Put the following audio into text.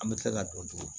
An bɛ tila ka don tulo